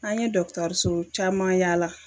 An ye dɔgitɔriso caman yala